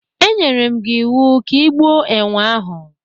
E nyerem gi iwu ka ị gbuo enwe ahụ!